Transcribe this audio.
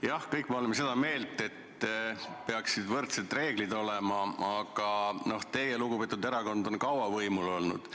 Jah, me kõik oleme seda meelt, et peaksid võrdsed reeglid olema, aga teie lugupeetud erakond on kaua võimul olnud.